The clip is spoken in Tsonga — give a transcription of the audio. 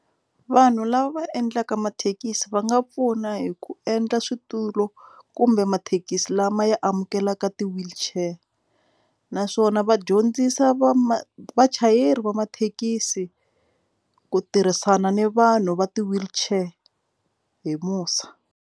Vanhu lava va endlaka mathekisi va nga pfuna hi ku endla switulu kumbe mathekisi lama yi amukelaka ti-wheelchair naswona va dyondzisa va ma vachayeri va mathekisi ku tirhisana ni vanhu va ti-wheelchair hi musa.